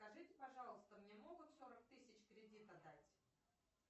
скажите пожалуйста мне могут сорок тысяч кредита дать